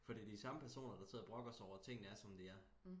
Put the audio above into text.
for det er de samme personer der sidder og brokker sig over tingene er som de er